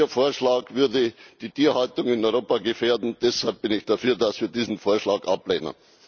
Ihr Vorschlag würde die Tierhaltung in Europa gefährden, deshalb bin ich dafür, dass wir diesen Vorschlag ablehnen.